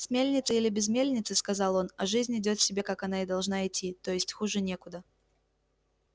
с мельницей или без мельницы сказал он а жизнь идёт себе как она и должна идти то есть хуже некуда